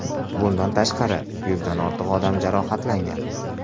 Bundan tashqari, yuzdan ortiq odam jarohatlangan.